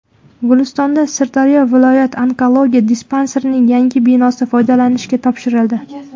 Gulistonda Sirdaryo viloyat onkologiya dispanserining yangi binosi foydalanishga topshirildi.